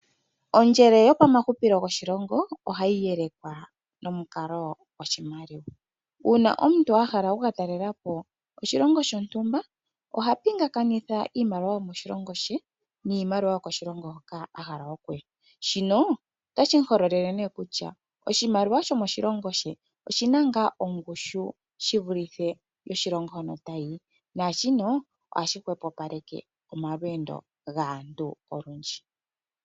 Ondjele yopomahupilo goshilongo ohayi yelekwa nomukalo goshimaliwa. Uuna omuntu ahala okukatalela po oshilongo shontumba, ohapingakanitha iimaliwa yomoshilongo she niimaliwa yokoshilongo hoka ahala okuya, shino otashi muhololele ne kutya oshimaliwa shomoshilongo she oshina ngaa ongushu shivulithe yoshilongo hono tayi? Naashino ohashi hwepopaleke omalweendo gaantu olundji.